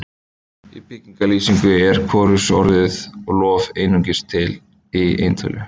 Í beygingarlýsingu er hvorugkynsorðið lof einungis til í eintölu.